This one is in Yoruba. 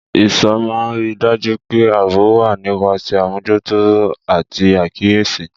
Ìṣọ́ máa ń rí i dájú pé ààbò wà nípasẹ̀ àmójútó àti àkíyèsí.